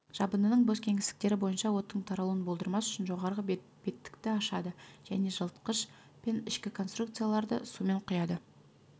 жабындының бос кеңістіктері бойынша оттың таралуын болдырмас үшін жоғары беттікті ашады және жылытқыш пен ішкі конструкцияларды сумен құяды